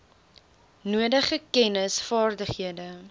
nodige kennis vaardighede